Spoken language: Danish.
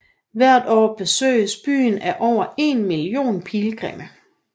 Hvert år besøges byen af over en million pilgrimme